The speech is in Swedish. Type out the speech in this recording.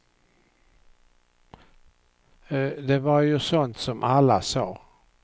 Det var ju sånt som alla sa.